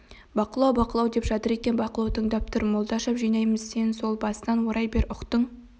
бақылау бақылау деп жатыр екен бақылау тыңдап тұр молдашев жинаймыз сен сол басынан орай бер ұқтың